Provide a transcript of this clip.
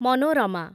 ମନୋରମା